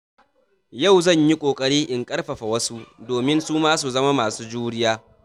Yau zan yi kokari in ƙarfafa wasu domin su ma su zama masu juriya.